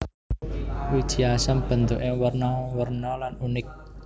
Wiji asem bentuké werna werna lan unik